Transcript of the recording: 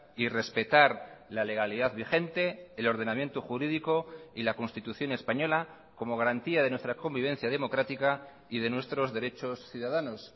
y respetar la legalidad vigente el ordenamiento jurídico y la constitución española como garantía de nuestra convivencia democrática y de nuestros derechos ciudadanos